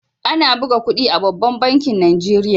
Ana buga kudi a babban bankin nigeria.